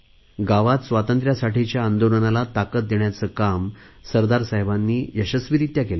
गावात स्वातंत्र्यासाठीच्या आंदोलनाला ताकत देण्याचे काम सरदार साहेबांनी यशस्वीरित्या केले